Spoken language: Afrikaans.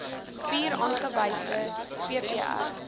vier aangewese vpr